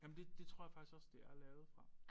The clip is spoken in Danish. Jamen det det tror jeg faktisk også det er lavet fra